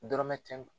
Dɔrɔmɛ kɛmɛ